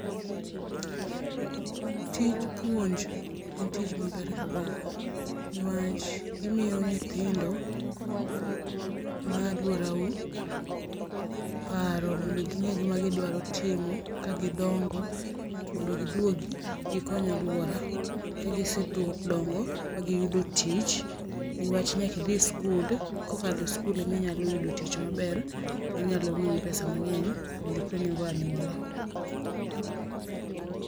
Tij puonj en tich maber kabisa niwach imiyo nyithindo malworau paro mondo ging'e gima gidwaro timo kagidongo mondo giduogi gikony alwora. Kagisee duo dongo magiyudo tich niwach nyakidhi skul kokalo skul eka inyalo yudo tich maber manyalo miyi pesa mang'eny mondikonygo anyuola.